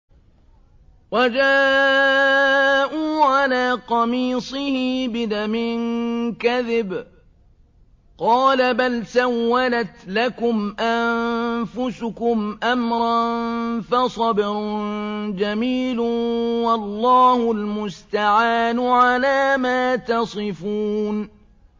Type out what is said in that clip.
وَجَاءُوا عَلَىٰ قَمِيصِهِ بِدَمٍ كَذِبٍ ۚ قَالَ بَلْ سَوَّلَتْ لَكُمْ أَنفُسُكُمْ أَمْرًا ۖ فَصَبْرٌ جَمِيلٌ ۖ وَاللَّهُ الْمُسْتَعَانُ عَلَىٰ مَا تَصِفُونَ